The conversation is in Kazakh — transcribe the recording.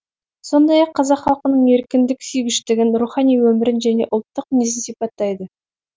сондай ақ қазақ халқының еркіндік сүйгіштігін рухани өмірін және ұлттық мінезін сипаттайды